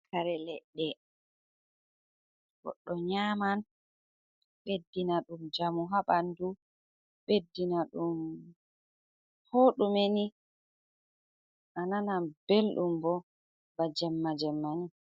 Kare ledde goɗɗo nyaman beddina dum jamu habandu beddina dum ko dume ni a nanan beldum bo bana jemma jemma ni.